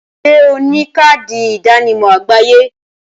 Ṣé o ní káàdì ìdánimọ̀ àgbáyé?